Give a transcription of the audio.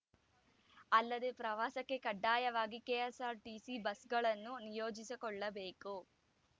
ಅಲ್ಲದೆ ಪ್ರವಾಸಕ್ಕೆ ಕಡ್ಡಾಯವಾಗಿ ಕೆಎಸ್‌ಆರ್‌ಟಿಸಿ ಬಸ್‌ಗಳನ್ನು ನಿಯೋಜಿಸಿಕೊಳ್ಳಬೇಕು